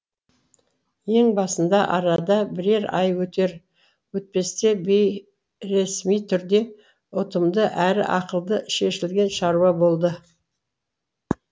ең басында арада бірер ай өтер өтпесте бейресми түрде ұтымды әрі ақылды шешілген шаруа болды